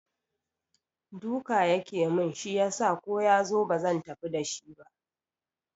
Duka yake mun shi yasa ko yazo bazan tafi da shi ba